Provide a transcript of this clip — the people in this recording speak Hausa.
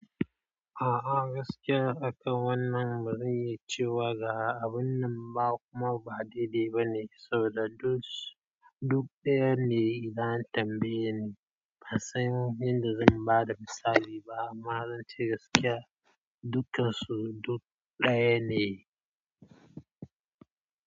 A'a gaskiya akan wannan bazan iya cilewa ga abun nan ba kuma ba dai dai bane saboda duk daya idan an tambaye ni, ban san yadda zan bada misali ba. Amma zance gaskiya dukkansu duk ɗaya ne.